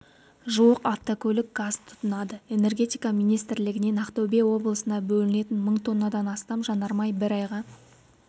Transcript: жуық автокөлік газ тұтынады энергетика министрлігінен ақтөбе облысына бөлінетін мың тоннадан астам жанармай бір айға